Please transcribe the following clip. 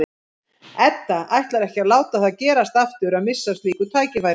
Edda ætlar ekki að láta það gerast aftur að missa af slíku tækifæri.